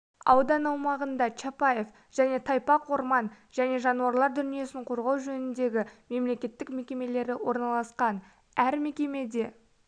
аудан аумағында чапаев және тайпақ орман және жануарлар дүниесін қорғау жөніндегі мемлекеттік мекемелері орналасқан әр мекемеде